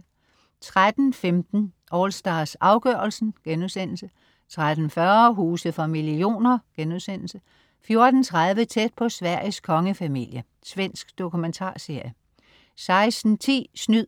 13.15 AllStars, afgørelsen* 13.40 Huse for millioner* 14.30 Tæt på Sveriges kongefamilie. Svensk dokumentarserie 16.10 Snyd!